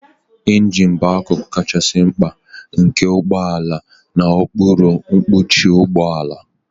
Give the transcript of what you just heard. Ịnjin bụ akụkụ kachasị mkpa nke ụgbọ ala n'okpuru mkpuchi ụgbọ ala.